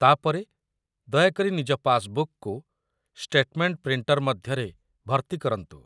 ତା' ପରେ ଦୟାକରି ନିଜ ପାସବୁକ୍‌କୁ ଷ୍ଟେଟମେଣ୍ଟ ପ୍ରିଣ୍ଟର ମଧ୍ୟରେ ଭର୍ତ୍ତି କରନ୍ତୁ